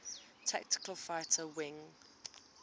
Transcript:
tactical fighter wing